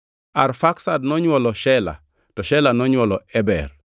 Arfaksad nonywolo Shela, to Shela nonywolo Eber.